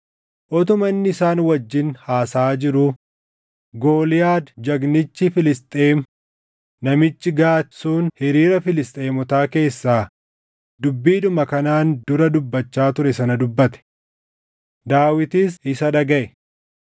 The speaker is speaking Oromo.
Utuma inni isaan wajjin haasaʼaa jiruu, Gooliyaad jagnichi Filisxeem namichi Gaati sun hiriira Filisxeemotaa keessaa dubbiidhuma kanaan dura dubbachaa ture sana dubbate; Daawitis isa dhagaʼe.